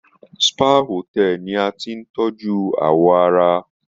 Spa Hotel ni a ti n tọjú awọ ara.